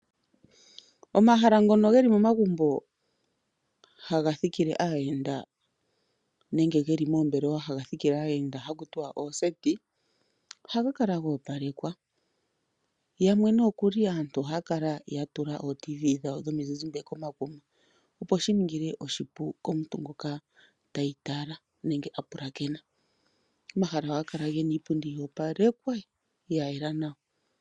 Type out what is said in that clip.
Omahala ngono he li momagumbo haga thikile aayenda nenge ge li moombelewa haga thikile aayenda haku tiwa ooseti, ohaga kala ga opalekwa yamwe nokuli aantu ohaya kala ya tula ootv dhawo dhomizizimbe komakuma, opo shi ningile oshipu komuntu ngoka teyi tala nenge a pulakena. Omahala ohaga kala gena iipundi ya opalekwa ya yela nawa.